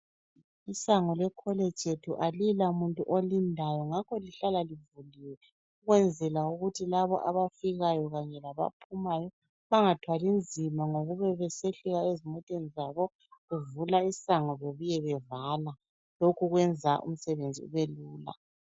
Isango lecollege yethu alilamuntu olindayo ngakho lihlala livuliwe ukwenzela ukuthi laba abafikayo kanye labaphumayo bangathwali nzima ngokube besehlika ezimoteni zabo bevula isango bebuye bevala. Lokhu kwenza umsebenzi ube lula.